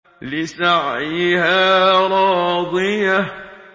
لِّسَعْيِهَا رَاضِيَةٌ